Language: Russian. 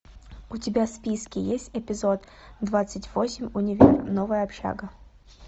у тебя в списке есть эпизод двадцать восемь универ новая общага